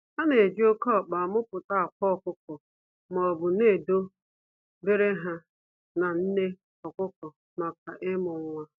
A na-eji oke ọkpa a muputa akwa ọkụkọ maobu na edo bere ha na nne ọkụkọ maka ịmu nwa.